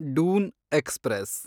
Doon express